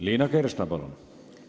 Liina Kersna, palun!